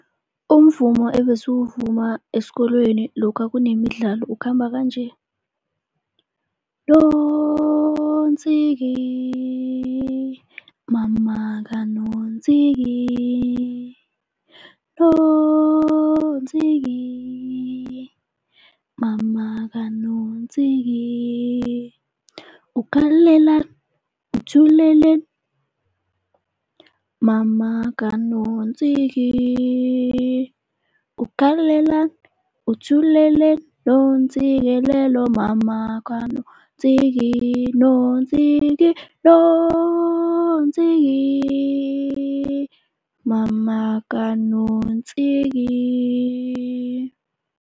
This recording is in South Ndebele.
Umvumo ebesiwuvuma esikolweni lokha kunemidlalo ukhamba kanje. Nontsiki mama kaNontsiki, Nontsiki mama kaNontsiki, ukhalelani, uthuleleni, mama kaNontsiki, ukhalelani uthuleleni. Nontsikelelo mama kaNontsiki, Nontsiki, Nontsiki mama kaNontsiki.